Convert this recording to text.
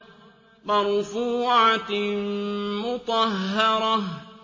مَّرْفُوعَةٍ مُّطَهَّرَةٍ